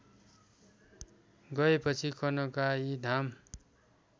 गएपछि कनकाई धाम